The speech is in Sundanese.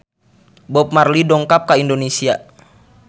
Bob Marley dongkap ka Indonesia